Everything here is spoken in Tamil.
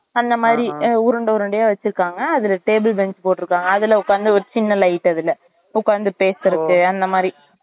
அந்த மாறி உருண்டை உருண்டையா வச்சிருகாங்க அதுல table bench போட்டு இருக்காங்க அதுல உக்காந்து ஒரு சின்ன light அதுல உக்காந்து பேசுறதுக்கு அந்த மாறி